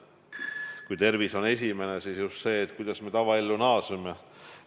Kui tervis on esimene, siis järgmisena just see, kuidas me tavaellu naaseme.